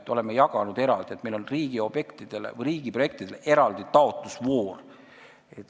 Me oleme raha eraldi jaganud, meil on riigiprojektidele eraldi taotlusvoor.